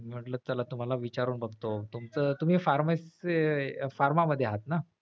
म्हंटल चला तुम्हाला विचारून बघतो तुमचं तुम्ही pharmacy pharma मध्ये आहेत ना?